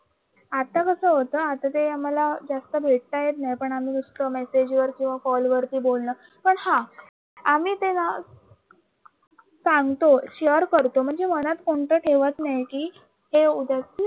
आता होतं आता ते आम्हाला जास्त भेटता येत नाही पण आम्ही मेसेजवर किंवा कॉल वर बोलणं पण हा आम्ही ते न सांगतो शेअर करतो म्हणजे मनात कोणत ठेवत नाही की ते उद्या